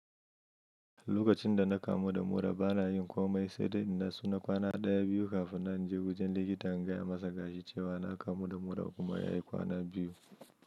Lokacin da na kamu da mura bana yin komai sai dai na natsu na kwana ɗaya biyu kafin na je wajen likita in gaya masa gashi cewa na kamu da mura kuma ya yi kwana biyu.